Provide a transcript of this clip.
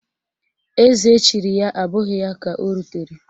Eze echiri ya abụghị ya ka o rutere